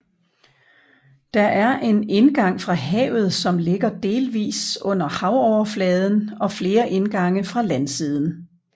Der er en indgang fra havet som ligger delvis under havoverfladen og flere indgange fra landsiden